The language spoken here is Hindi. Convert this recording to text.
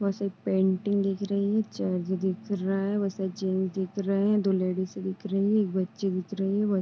बहोत सारी पेंटिंग दिख रही है। चर्च दिख रहा है। बहोत सारे जेंट्स दिख रहे है। दो लेडीजे दिख रही है। एक बच्चे दिख रहे है। --